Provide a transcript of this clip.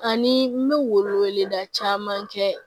Ani n bɛ wele wele da caman kɛ